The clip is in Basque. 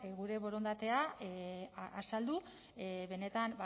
gure borondatea azaldu benetan